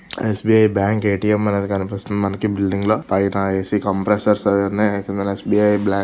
yes _B_ I bank A _T_ M అనేది కనిపిస్తుంది మనకి బిల్డింగ్ లో పైన ఎ _సి కంప్రెసర్స్ ఉన్నాయి కింద ఎస్ _బి_ ఐ బ్లా--